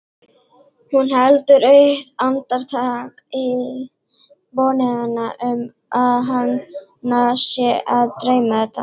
Hún heldur eitt andartak í vonina um að hana sé að dreyma þetta.